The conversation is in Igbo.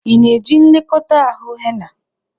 Ị na-eji nlekọta ahụ henna?